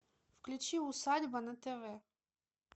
включи усадьба на тв